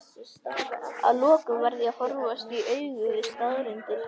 að lokum varð ég að horfast í augu við staðreyndir.